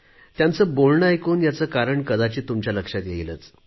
त्यांचे बोलणे ऐकून याचे कारण तुमच्या लक्षात येईलच